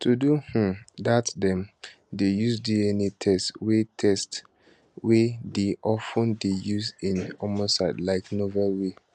to do um dat dem dey use dna test wey test wey dey of ten dey use in homicides like novel way